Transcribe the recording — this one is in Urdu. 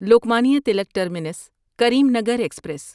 Lokmanya Tilak terminus Karimnagar express